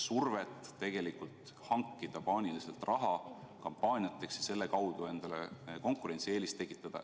Siis väheneks surve hankida paaniliselt raha kampaaniateks ja selle kaudu endale konkurentsieelist tekitada.